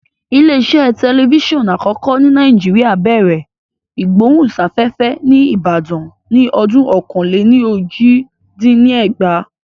Ilé iṣẹ́ tẹlifíṣọ̀n àkọ́kọ́ ní Nàìjíríà bẹ̀rẹ̀ ìgbóhùnsáfẹ́fẹ́ ní Ìbàdàn ní ọdún ọ̀kan-lé-ní-ojì dín ní ẹgbàá